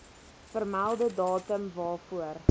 vermelde datum waarvoor